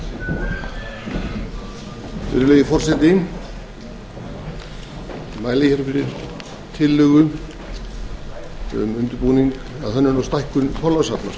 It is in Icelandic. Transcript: virðulegi forseti ég mæli fyrir tillögu um undirbúning að hönnun og stækkun þorlákshafnar